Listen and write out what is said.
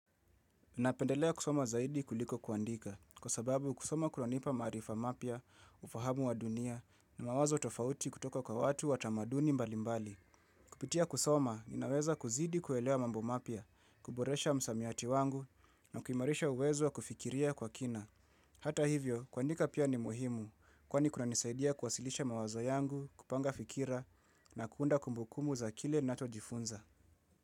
Unapendelea kusoma zaidi kuliko kuandika, kwa sababu kusoma kunanipa marifa mapia, ufahamu wa dunia, na mawazo tofauti kutoka kwa watu watamaduni mbalimbali. Kupitia kusoma, ninaweza kuzidi kuelewa mambo mapia, kuboresha msamiati wangu, na kuimarisha uwezo wa kufikiria kwa kina. Hata hivyo, kuandika pia ni muhimu, kwani kuna nisaidia kuwasilisha mawazo yangu, kupanga fikira, na kuunda kumbukumbu za kile ninachojifunza.